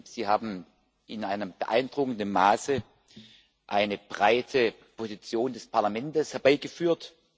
Sie haben in einem beeindruckenden Maße eine breite Position des Parlaments herbeigeführt.